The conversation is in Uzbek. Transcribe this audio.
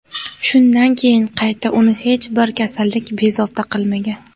Shundan keyin qayta uni hech bir kasallik bezovta qilmagan.